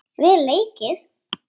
Vel leikið.